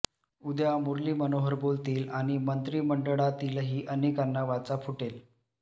उद्या मुरली मनोहर बोलतील आणि मंत्रिमंडळातीलही अनेकांना वाचा फुटेल